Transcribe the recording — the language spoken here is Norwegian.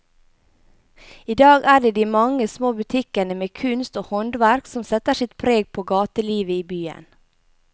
I dag er det de mange små butikkene med kunst og håndverk som setter sitt preg på gatelivet i byen.